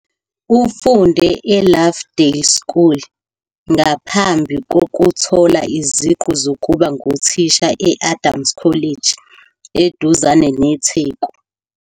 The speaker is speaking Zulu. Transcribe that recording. Ufunde eLovedale School ngaphambi kokuthola iziqu zokuba nguthisha e- Adams College eduzane neTheku.